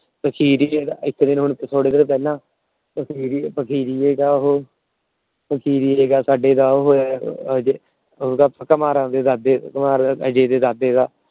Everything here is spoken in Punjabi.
ਫ਼ਕੀਰੀਆਂ ਦਾ ਅਹ ਇੱਕ ਦਿਨ ਥੋੜੇ ਦਿਨ ਪਹਿਲਾ ਫ਼ਕੀਰੀਆਂ ਦਾ ਉਹ ਫ਼ਕੀਰੀਆਂ ਦਾ ਸਾਡੇ